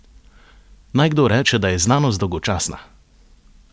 Naj kdo reče, da je znanost dolgočasna!